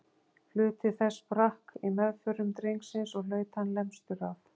Hluti þess sprakk í meðförum drengsins og hlaut hann lemstur af.